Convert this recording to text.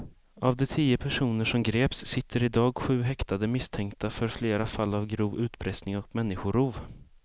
Av de tio personer som greps sitter i dag sju häktade misstänkta för flera fall av grov utpressning och människorov.